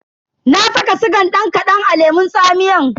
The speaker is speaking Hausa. Na saka sigan dan kadan a lemun tsamiyan.